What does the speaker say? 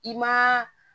I ma